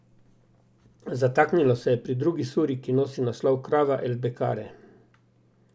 Zataknilo se je pri drugi suri, ki nosi naslov Krava, El Bekare.